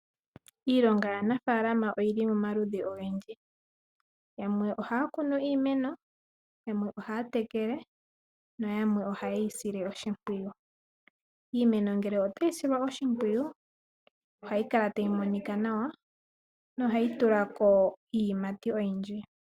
Iilonga yaanafalama oyili pamaludhi ogendji, yamwe ohaya kunu iimeno, yamwe ohaya tekele na yamwe oha yeyi sile oshimpwiyu. Iimeno ngele otayi silwa oshimpwiu ohayi kala tayi monika nawa no hayi tulako iiyimati oyindji.